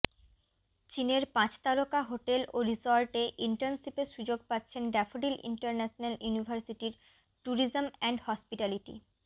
চীনের পাঁচতারকা হোটেল ও রিসোর্টে ইন্টার্নশিপের সুযোগ পাচ্ছেন ড্যাফোডিল ইন্টারন্যাশনাল ইউনিভার্সিটির ট্যুরিজম অ্যান্ড হসপিটালিটি